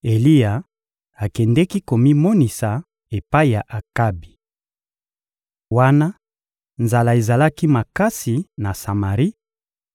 Eliya akendeki komimonisa epai ya Akabi. Wana nzala ezalaki makasi na Samari,